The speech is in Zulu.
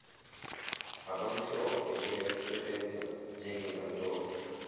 abamhlophe eyayisebenza njengenkantolo